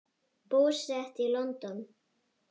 Búsett í London.